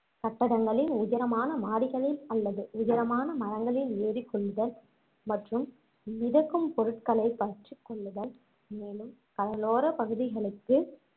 கட்டடங்களின் உயரமான மாடிகளில் அல்லது உயரமான மரங்களில் ஏறிக் கொள்ளுதல் மற்றும் மிதக்கும் பொருட்களைப் பற்றிக்கொள்ளுதல் மேலும் கடலோர பகுதிகளுக்கு